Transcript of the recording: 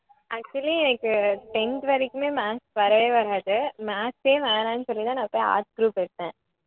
actually எனக்கு tenth வரைக்குமே maths வரவே வராது maths ஏ வேணான்னு சொல்லி தான் நான் போய் arts group எடுத்தேன்